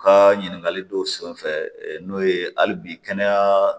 U ka ɲininkali dɔw senfɛ n'o ye hali bi kɛnɛya